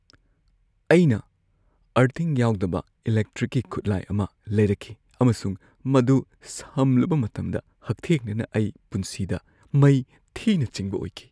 ꯑꯩꯅ ꯑꯔꯗꯤꯡ ꯌꯥꯎꯗꯕ ꯏꯂꯦꯛꯇ꯭ꯔꯤꯛꯀꯤ ꯈꯨꯠꯂꯥꯏ ꯑꯃ ꯂꯩꯔꯛꯈꯤ ꯑꯃꯁꯨꯡ ꯃꯗꯨ ꯁꯝꯂꯨꯕ ꯃꯇꯝꯗ, ꯍꯛꯊꯦꯡꯅꯅ, ꯑꯩ ꯄꯨꯟꯁꯤꯗ ꯃꯩ ꯊꯤꯅ ꯆꯤꯡꯕ ꯑꯣꯏꯈꯤ ꯫